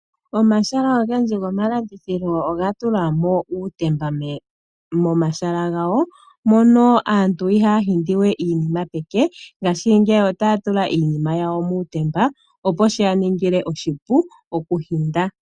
Omahala ogendji gomalandithilo oga tulwa uutemba, mono aantu ihaya humbata we iinima peke, ngashingeyi otaya tula iinima yawo muutemba, opo shiya ningile oshipu okuhumbata.